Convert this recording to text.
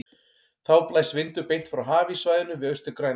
Þá blæs vindur beint frá hafíssvæðinu við Austur-Grænland.